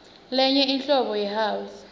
tenye inhlobo yi house